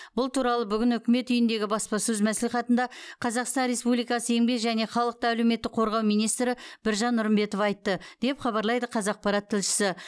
бұл туралы бүгін үкімет үйіндегі баспасөз мәслихатында қазақстан республикасы еңбек және халықты әлеуметтік қорғау министрі біржан нұрымбетов айтты деп хабарлайды қазақпарат тілшісі